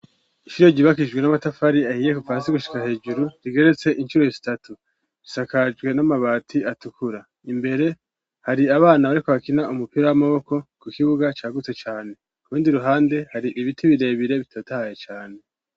Ishure ryubakishijwe n'amatafari ahiye kuva hasi gushika hejuru rigeretse incuro zitatu. Risakajwe n'amabati atukura. Imbere hari abana bariko bakina umupira w'amaboko, ku kibuga cagutse cane. Ku rundi ruhande hari ibiti birebire bitotahaye cane.